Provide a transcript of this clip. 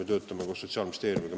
Me töötame koos Sotsiaalministeeriumiga.